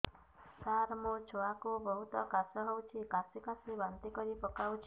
ସାର ମୋ ଛୁଆ କୁ ବହୁତ କାଶ ହଉଛି କାସି କାସି ବାନ୍ତି କରି ପକାଉଛି